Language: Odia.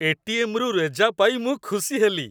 ଏ.ଟି.ଏମ୍.ରୁ ରେଜା ପାଇ ମୁଁ ଖୁସି ହେଲି।